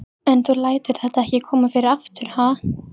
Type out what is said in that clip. En þú lætur þetta ekki koma fyrir aftur, ha?